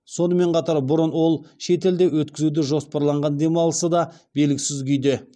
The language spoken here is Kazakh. сонымен қатар бұрын ол шетелде өткізуді жоспарлаған демалысы да белгісіз күйде